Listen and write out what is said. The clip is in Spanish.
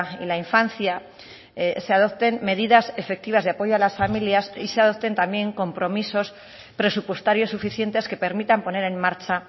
y la infancia se adopten medidas efectivas de apoyo a las familias y se adopten también compromisos presupuestarios suficientes que permitan poner en marcha